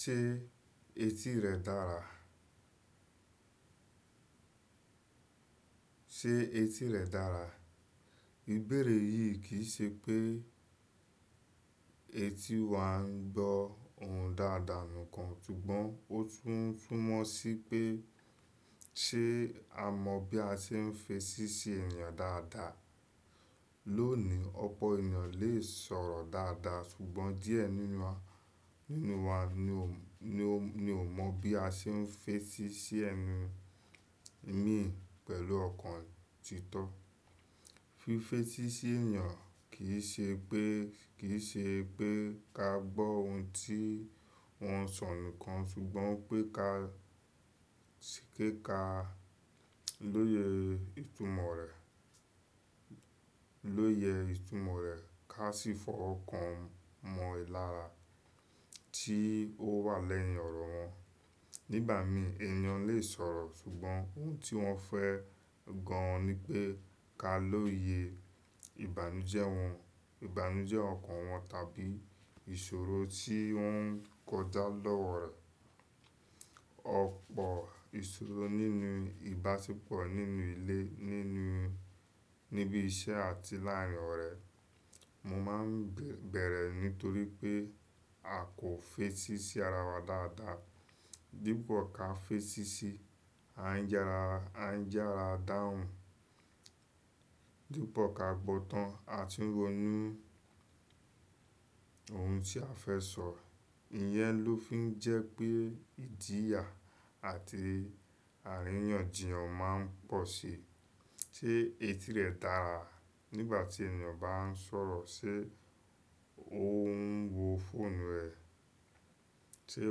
Ṣé etí rẹ̀ dára? Ṣé etí rẹ̀ dára? Ìbéèrè yìí kì í se pé etí wa ń gbọ́ ohùn dáadáa nìkan, ṣùgbọ́n ó tún fún mọ́ sí pé ṣé a mọ bí a se ń fèsì sí ènìyàn dáadáa. Lónìí ọ̀pọ̀ ènìyàn lè sọ̀rọ̀ dáadáa ṣùgbọ́n díẹ̀ nínú wa, nínú wa ni ò mọ bí a ṣe ń fèsì sí ẹni mì í pẹ̀lú ọ̀kàn títọ́. Fífẹ́ sí ènìyàn kì í ṣe pé, kì í ṣe pé ka gbọ́ ohun tí wọ́n ń sọ nìkan ṣùgbọ́n pé ka ka lóye ìtumọ̀ rẹ̀, lóye ìtumọ̀ rẹ̀ ká sì fọ̀ ọ̀kàn mọ ìlára tí ó wà lẹ́yìn ọ̀rọ̀ wọn. Nígbà mìí ènìyàn lè sọ̀rọ̀ ṣùgbọ́n ohun tí wọ́n fẹ́ gan an ni pé ká lóye ìbànújẹ́ wọn, ìbànújẹ́ ọ̀kàn wọn tàbí ìṣòro tí ó ń kọjá lọ́wọ́ rẹ̀. Ọ̀pọ̀ ìṣòro nínú ìbáṣepọ̀ nínú ilé, nínú-- níbi iṣẹ́ àti láàárin ọ̀rẹ́, o máa ń bẹ̀rẹ̀ nítorí pé a kò fèsì sí ara wa dáadáa. Dípò ká fèsì sí, a ń yàrá, a ń yàrá dáhùn. Dípò ká gbọ́ tán àti rónún ohun tí a fẹ́ sọ. Ìyẹn ló fi ń jẹ́ pé ìjìyà àti àríyànjiyàn máa ń pọ̀ sí i. Ṣé etí rẹ̀ dára nígbà tí ènìyàn bá ń sọ̀rọ̀? Ṣé òun ń wo fóònù rẹ̀? Ṣé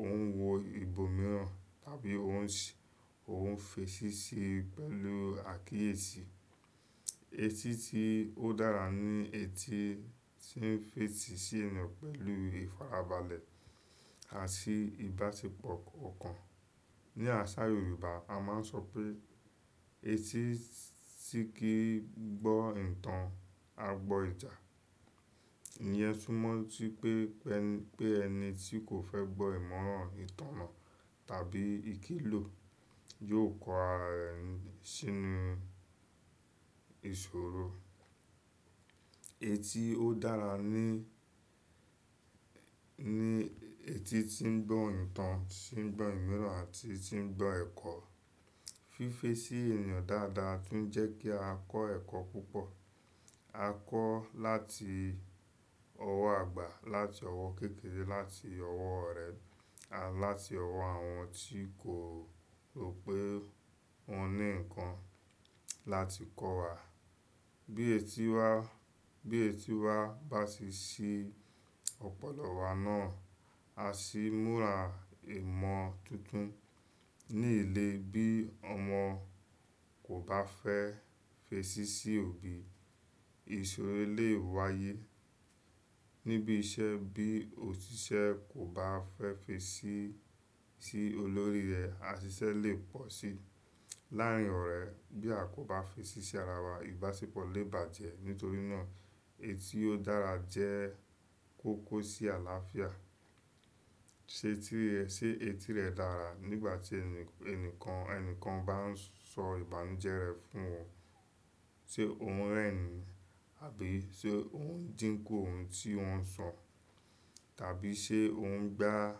òun ń wo ibòmíràn? Tàbí òun ń ṣ-- òun ń fèsì sí pẹ̀lú àkíyèsí? Etí tí ó dára ni etí tí ń fèsì sí ènìyàn pẹ̀lú ìfarabalẹ̀ àti ìbáṣepọ̀ ọ̀kàn. Ni àṣà Yorùbá a máa ń sọ pé "Etí tí kì í gbọ́ ìtàn á gbọ́ ìjà." Ìyẹn tún mọ̀ sí pé, pé ẹni tí kò fẹ́ gbọ́ ìmọ̀ràn, ìtàn náa tàbí ìkìlò yóò kọ ara rẹ̀ sínú ìṣòro. Etí ó dára ni, ni etí tí ń gbọ́ ìtàn, tí ń gbọ́ ìmọ̀ràn àti tí ń gbọ́ ẹ̀kọ́. Fífẹ́ sí ènìyàn dáadáa tún jẹ́ kí a kọ́ ẹ̀kọ́ púpọ̀. A kọ́ láti ọwọ́ àgbà, láti ọwọ́ kékeré, láti ọwọ́ ọ̀rẹ́, àti láti ọwọ́ àwọn tí kò rò pé wọ́n ní nǹkan láti kọ́ wa. Bí etí wa, bí etí wa bá ṣí ọ̀pọ̀lọ wa náà, a sì múra ìmọ̀ tuntun. Ní ilé bí ọmọ kò bá fẹ́ fèsì sí òbí, ìṣòro lè wáyé. Níbi iṣẹ́ bí òṣìṣẹ́ kò bá fẹ́ fèsì sí olórí rẹ̀, àṣíṣẹ́ lè pọ̀ sí i. Láàárin ọ̀rẹ́ bí a kò bá fèsì sí ara wa, ìbáṣepọ̀ lè bàjẹ́. Nítorí náà etí ó dára jẹ́ kókó sí àlàáfíà. Ṣé etí rẹ, Ṣé etí rẹ̀ dára nígbà tí ẹni- ẹnìkan, ẹnìkan bá ń sọ ìbànújẹ́ rẹ̀ fún ọ? Ṣé òun rẹ́rin? Àbí ṣé òun ń dínkù ohun tí wọ́n ń sọ? Tàbí ṣé òun ń gbá á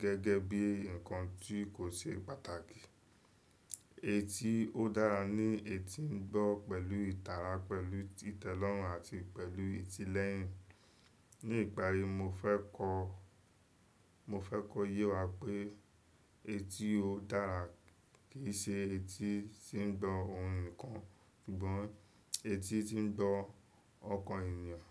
gẹ́gẹ́ bí ǹkan tí kò ṣe pàtàkì? Etí ó dára ni etí ń gbọ́ pẹ̀lú ìtara, pẹ̀lú tìtẹ̀lọ́rùn àti pẹ̀lú ìtilẹ̀yìn. Ní ìparí mo fẹ́ kọ, mo fẹ́ kò yé wa pé etí ó dára kì í ṣe etí tí ń gbọ́ ohun nìkan, ṣùgbọ́n etí tí ń gbọ́ ọ̀kàn ènìyàn.